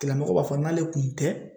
Tigilamɔgɔ b'a fɔ n'ale kun tɛ